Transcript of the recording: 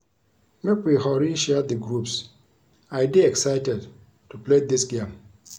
Make we hurry share the groups I dey excited to play dis game